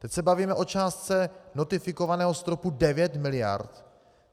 Teď se bavíme o částce notifikovaného stropu 9 miliard.